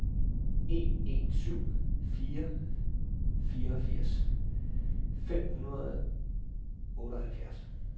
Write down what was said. en en syv fire fireogfirs fem hundrede og otteoghalvfjerds